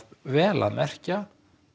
vel að merkja